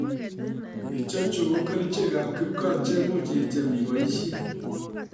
Ichechu ko kerichek ab kipkaa chemuch ityem iboisisen